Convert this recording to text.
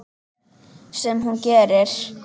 Sem hún gerir.